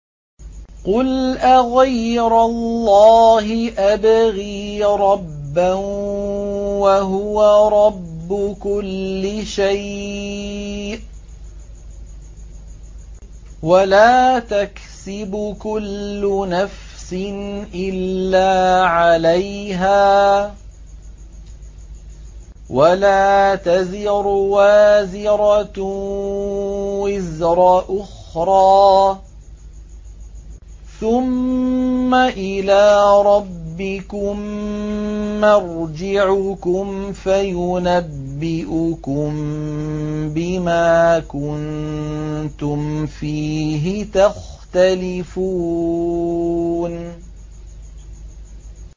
قُلْ أَغَيْرَ اللَّهِ أَبْغِي رَبًّا وَهُوَ رَبُّ كُلِّ شَيْءٍ ۚ وَلَا تَكْسِبُ كُلُّ نَفْسٍ إِلَّا عَلَيْهَا ۚ وَلَا تَزِرُ وَازِرَةٌ وِزْرَ أُخْرَىٰ ۚ ثُمَّ إِلَىٰ رَبِّكُم مَّرْجِعُكُمْ فَيُنَبِّئُكُم بِمَا كُنتُمْ فِيهِ تَخْتَلِفُونَ